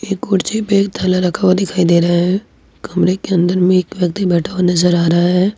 एक कुर्सी पे एक थैला रखा हुआ दिखाई दे रहा हैं कमरे के अंदर में एक व्यक्ति बैठा हुआ नजर आ रहा है।